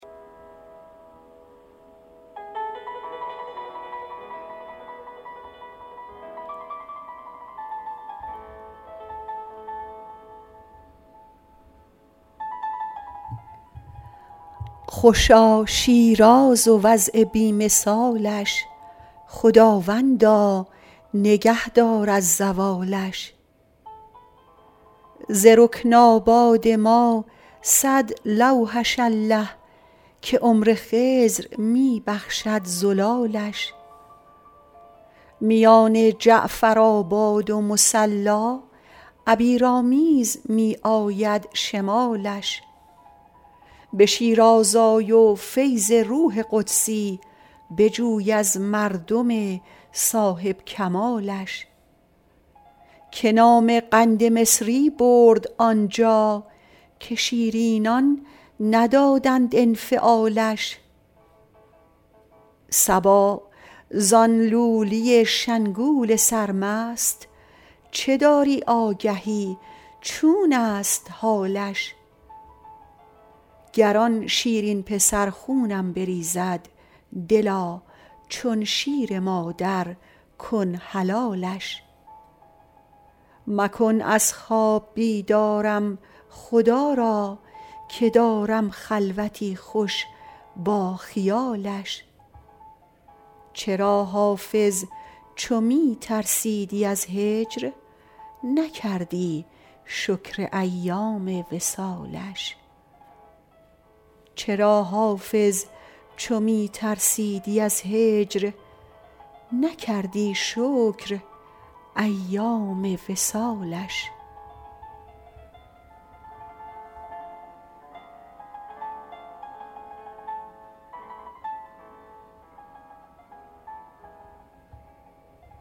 خوشا شیراز و وضع بی مثالش خداوندا نگه دار از زوالش ز رکن آباد ما صد لوحش الله که عمر خضر می بخشد زلالش میان جعفرآباد و مصلا عبیرآمیز می آید شمالش به شیراز آی و فیض روح قدسی بجوی از مردم صاحب کمالش که نام قند مصری برد آنجا که شیرینان ندادند انفعالش صبا زان لولی شنگول سرمست چه داری آگهی چون است حالش گر آن شیرین پسر خونم بریزد دلا چون شیر مادر کن حلالش مکن از خواب بیدارم خدا را که دارم خلوتی خوش با خیالش چرا حافظ چو می ترسیدی از هجر نکردی شکر ایام وصالش